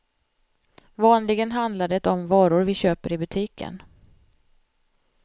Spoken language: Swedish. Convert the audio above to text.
Vanligen handlar det om varor vi köper i butiken.